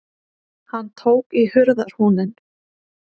Hann tók í hurðarhúninn.